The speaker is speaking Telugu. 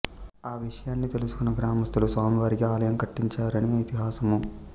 ఆ విషయాన్ని తెలుసుకున్న గ్రామస్థులు స్వామివారికి ఆలయం కట్టించారని ఇతిహాసము